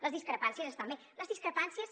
les discrepàncies estan bé les discrepàncies